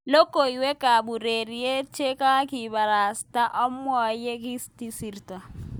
Logoiwek ab ureriet chekakibitishan amwoywek yekisirto.